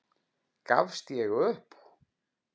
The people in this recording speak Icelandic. Gafst ég upp?